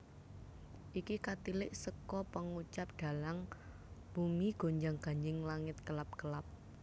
Iki katilik seka pangucap dhalang bumi gonjang ganjing langit kelap kelap